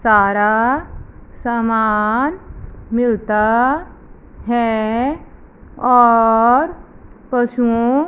सारा सामान मिलता है और पशुओं--